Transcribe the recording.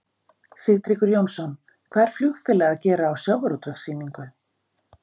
Sigtryggur Jónsson: Hvað er flugfélag að gera á sjávarútvegssýningu?